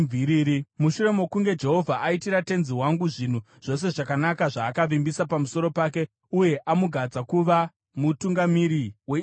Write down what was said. Mushure mokunge Jehovha aitira tenzi wangu zvinhu zvose zvakanaka zvaakavimbisa pamusoro pake uye amugadza kuti ave mutungamiri weIsraeri,